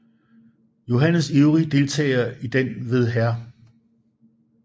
Johannes ivrige deltagelse i den ved Hr